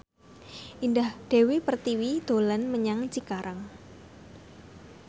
Indah Dewi Pertiwi dolan menyang Cikarang